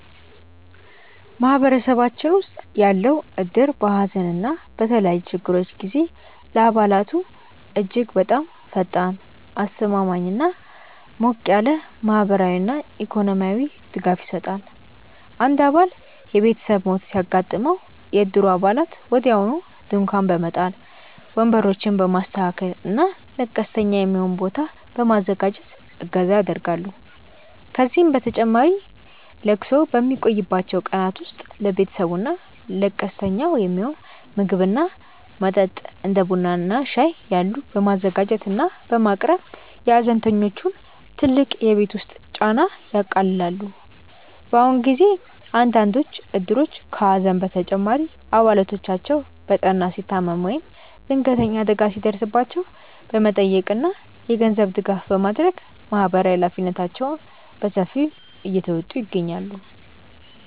ማህበረሰባችን ውስጥ ያለው እድር በሐዘን እና በተለያዩ ችግሮች ጊዜ ለአባላቱ እጅግ በጣም ፈጣን፣ አስተማማኝ እና ሞቅ ያለ ማህበራዊና ኢኮኖሚያዊ ድጋፍ ይሰጣል። አንድ አባል የቤተሰብ ሞት ሲያጋጥመው፣ የእድሩ አባላት ወዲያውኑ ድንኳን በመጣል፣ ወንበሮችን በማስተካከል እና ለቀስተኛ የሚሆን ቦታ በማዘጋጀት እገዛ ያደርጋሉ። ከዚህም በተጨማሪ ለቅሶው በሚቆይባቸው ቀናት ውስጥ ለቤተሰቡ እና ለቀስተኛው የሚሆን ምግብ እና መጠጥ (እንደ ቡና እና ሻይ ያሉ) በማዘጋጀት እና በማቅረብ የሐዘንተኞቹን ትልቅ የቤት ውስጥ ጫና ያቃልላሉ። በአሁኑ ጊዜ አንዳንዶቹ እድሮች ከሐዘን በተጨማሪ አባላቶቻቸው በጠና ሲታመሙ ወይም ድንገተኛ አደጋ ሲደርስባቸው በመጠየቅ እና የገንዘብ ድጋፍ በማድረግ ማህበራዊ ኃላፊነታቸውን በሰፊው እየተወጡ ይገኛሉ።